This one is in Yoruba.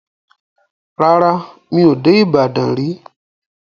Rárá, mi ò dé Ìbàdàn rí.